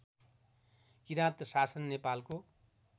किराँत शासन नेपालको